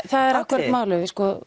það er akkúrat málið